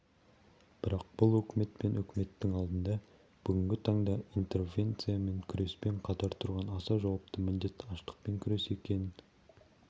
бірақ бұл өкімет пен үкіметтің алдында бүгінгі таңда интервенциямен күреспен қатар тұрған аса жауапты міндет аштықпен күрес екенін